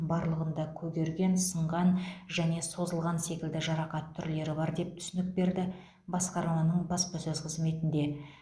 барлығында көгерген сынған және созылған секілді жарақат түрлері бар деп түсінік берді басқарманың баспасөз қызметінде